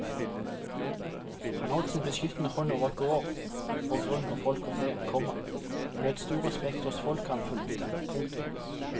Han holdt sin beskyttende hånd over gård og grunn og folk og fe, komma og nøt stor respekt hos folket han fulgte. punktum